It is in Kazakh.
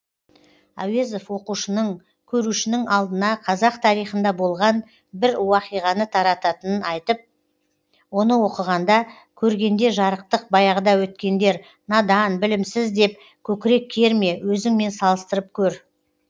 әуезов оқушының көрушінің алдына қазақ тарихында болған бір уақиғаны тартатынын айтып оны оқығанда көргенде жарықтық баяғыда өткендер надан білімсіз деп көкірек керме өзіңмен салыстырып көр